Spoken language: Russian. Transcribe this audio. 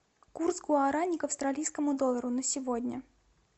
курс гуарани к австралийскому доллару на сегодня